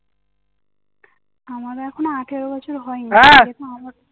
আমার এখন আঠেরো বছর হয়নি হ্যাঁ